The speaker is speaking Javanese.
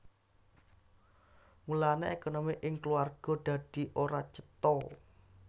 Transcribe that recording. Mulane ékonomi ing kulawarga dadi ora cetha